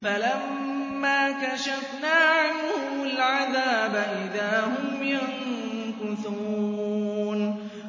فَلَمَّا كَشَفْنَا عَنْهُمُ الْعَذَابَ إِذَا هُمْ يَنكُثُونَ